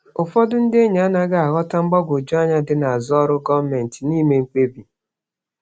Ụfọdụ ndị enyi anaghị aghọta mgbagwoju anya dị n'azụ ọrụ gọọmentị na ime mkpebi.